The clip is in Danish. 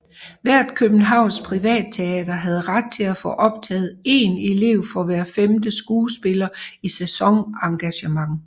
Hvert Københavnsk privatteater havde ret til at få optaget én elev for hver 5 skuespillere i sæsonengagement